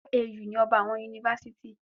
OAU ni ọba àwọn yunifásítì.